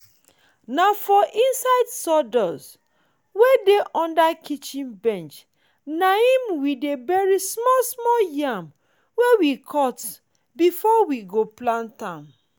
na for inside sawdust wey dey under kitchen bench nahim we dey bury small small yam wey we cut before we go pllant am